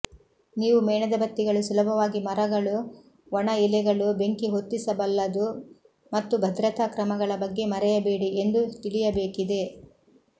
ನೀವು ಮೇಣದಬತ್ತಿಗಳು ಸುಲಭವಾಗಿ ಮರಗಳು ಒಣ ಎಲೆಗಳು ಬೆಂಕಿಹೊತ್ತಿಸಬಲ್ಲದು ಮತ್ತು ಭದ್ರತಾ ಕ್ರಮಗಳ ಬಗ್ಗೆ ಮರೆಯಬೇಡಿ ಎಂದು ತಿಳಿಯಬೇಕಿದೆ